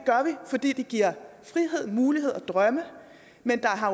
og fordi det giver frihed muligheder og drømme men der har